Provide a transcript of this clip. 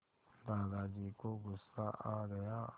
दादाजी को गुस्सा आ गया